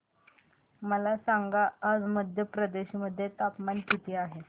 मला सांगा आज मध्य प्रदेश मध्ये तापमान किती आहे